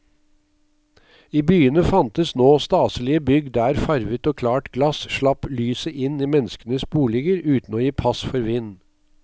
I byene fantes nå staselige bygg der farvet og klart glass slapp lyset inn i menneskenes boliger uten å gi pass for vind.